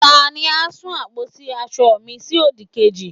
tani a sun àpótí asọ mi sí odikeji